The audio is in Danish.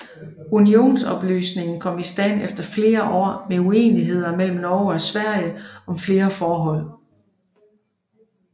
Unionsopløsningen kom i stand efter flere år med uenigheder mellem Norge og Sverige om flere forhold